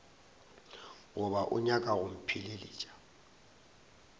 goba o nyaka go mpheleletša